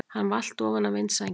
Hann valt ofan af vindsænginni!